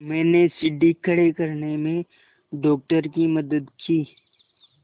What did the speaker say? मैंने सीढ़ी खड़े करने में डॉक्टर की मदद की